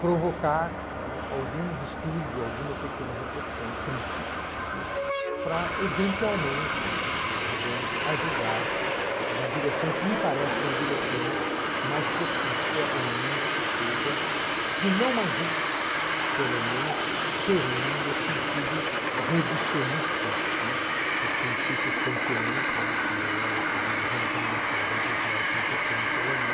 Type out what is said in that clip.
provocar algum distúrbio, alguma pequena reflexão crítica, para, eventualmente, digamos, ajudar na direção que me parece uma direção mais propícia a um mundo que seja, se não mais justo, pelo menos perene no sentido reducionista dos princípios kantianos, que é o que diz o Hans Jonas, um filósofo importante alemão,